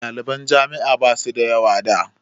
Ɗaliban jami'a ba su da yawa da.